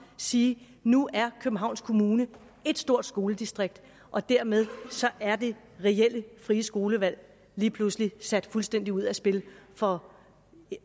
sige nu er københavns kommune ét stort skoledistrikt og dermed er det reelle frie skolevalg lige pludselig sat fuldstændig ud af spil for